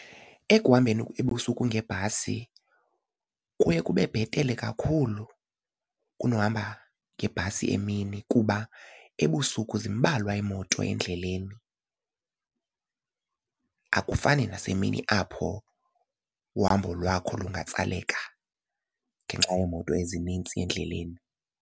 Ekuhambeni ebusuku ngebhasi kuye kube bhetele kakhulu kunokuhamba ngebhasi emini kuba ebusuku zimbalwa iimoto endleleni. Akufani nasemini apho uhambo lwakho lungatsaleka ngenxa yeemoto ezinintsi endleleni.